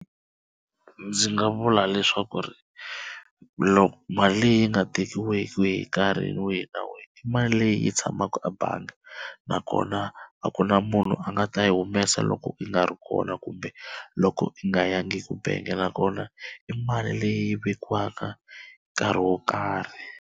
Ndzi nga vula leswaku ri loko mali leyi yi nga tekiwaki hi nkarhi wihi na wihi i mali leyi yi tshamaka ebangi na kona a ku na munhu a nga ta yi humesa loko i nga ri kona kumbe loko i nga yangi ku bangi na kona i mali leyi vekiwaka nkarhi wo karhi.